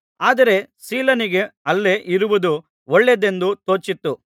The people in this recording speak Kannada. ಆದರೆ ಸೀಲನಿಗೆ ಅಲ್ಲೇ ಇರುವುದು ಒಳ್ಳೆಯದೆಂದು ತೋಚಿತು